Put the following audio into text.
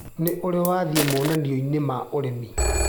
Nĩũrĩ wathĩi monanioinĩ ma ũrĩmi.